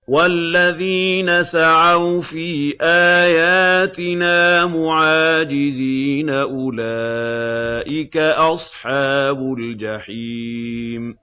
وَالَّذِينَ سَعَوْا فِي آيَاتِنَا مُعَاجِزِينَ أُولَٰئِكَ أَصْحَابُ الْجَحِيمِ